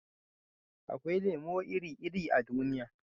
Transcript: akwai lemo iri-iri a duniya